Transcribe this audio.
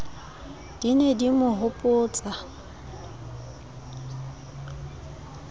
di ne di mo hopotsa